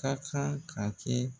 Ka kan ka kɛ